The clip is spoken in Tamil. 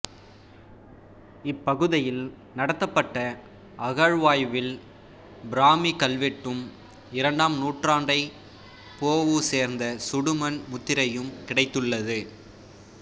இப்பகுதியில் நடத்தப்பட்ட அகழ்வாய்வில் பிராமி கல்வெட்டும் இரண்டாம் நூற்றாண்டைச் பொஊ சேர்ந்த சுடுமண் முத்திரையும் கிடைத்துள்ளது